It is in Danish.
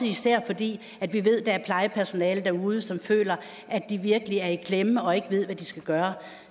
især fordi vi ved at der er plejepersonale derude som føler at de virkelig er i klemme og ikke ved hvad de skal gøre